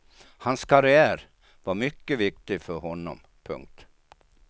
Hans karriär var mycket viktig för honom. punkt